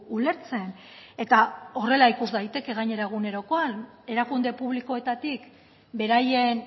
ulertzen eta horrela ikus daiteke gainera egunerokoan erakunde publikoetatik beraien